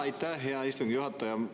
Aitäh, hea istungi juhataja!